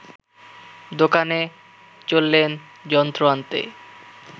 দোকানে চললেন যন্ত্র আনতে